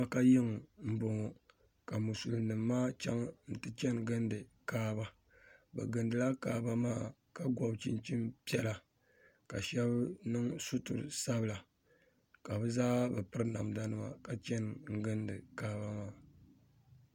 Maka yiŋa n bɔŋo ka musilim nim maa chaŋ n ti chani gindi kaaba bi gindi la kaaba maa ka gɔbi chinchin piɛla ka shɛba niŋ sutira sabila ka bi zaa bi piri namda nima ka chani n gindi kaaba maa.